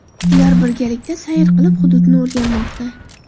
Ular birgalikda sayr qilib, hududni o‘rganmoqda.